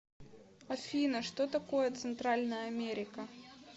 афина что такое центральная америка